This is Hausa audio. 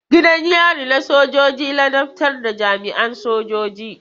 Gidan yari na sojoji ladabtar da jami'an sojoji.